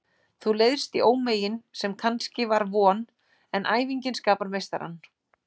Þú leiðst í ómegin sem kannski var von, en æfingin skapar meistarann.